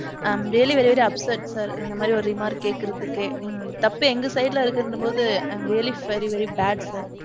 i am really very very upset sir இந்த மாதிரி ஒரு remark கேக்குறதுக்கே. தப்பு எங்க side இருக்குங்குறபோது i am really feel very very bad sir.